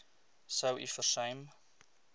sou u versuim